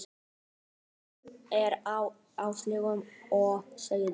En munur er á áherslum og samúð.